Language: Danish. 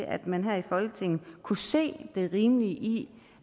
at man her i folketinget kunne se det rimelige i